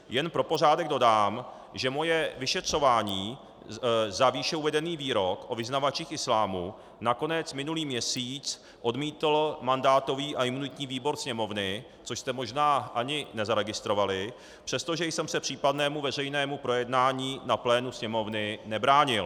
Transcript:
Jen pro pořádek dodám, že moje vyšetřování za výše uvedený výrok o vyznavačích islámu nakonec minulý měsíc odmítl mandátový a imunitní výbor Sněmovny, což jste možná ani nezaregistrovali, přestože jsem se případnému veřejnému projednání na plénu Sněmovny nebránil.